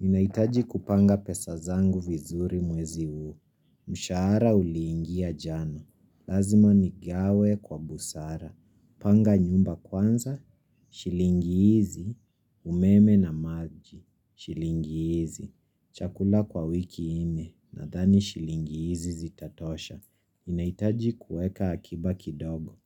Ninahitaji kupanga pesa zangu vizuri mwezi huu. Mshahara uliingia jana. Lazima nigawe kwa busara. Panga nyumba kwanza. Shilingi hizi. Umeme na maji. Shilingi hizi. Chakula kwa wiki nne. Nadhani shilingi hizi zitatosha. Ninahitaji kuweka akiba kidogo.